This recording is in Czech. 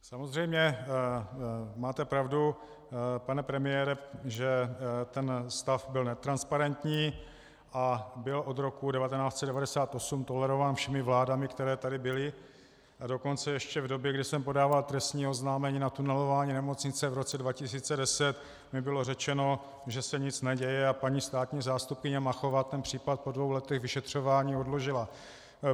Samozřejmě máte pravdu, pane premiére, že ten stav byl netransparentní a byl od roku 1998 tolerován všemi vládami, které tady byly, a dokonce ještě v době, kdy jsem podával trestní oznámení na tunelování nemocnice v roce 2010, mi bylo řečeno, že se nic neděje, a paní státní zástupkyně Machová ten případ po dvou letech vyšetřování odložila.